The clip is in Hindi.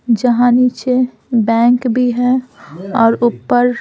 जहाँ नीचे बैंक भी है और ऊपर--